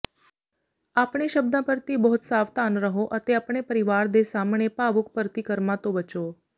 ਆਪਣੇ ਸ਼ਬਦਾਂ ਪ੍ਰਤੀ ਬਹੁਤ ਸਾਵਧਾਨ ਰਹੋ ਅਤੇ ਆਪਣੇ ਪਰਿਵਾਰ ਦੇ ਸਾਹਮਣੇ ਭਾਵੁਕ ਪ੍ਰਤੀਕਰਮਾਂ ਤੋਂ ਬਚੋ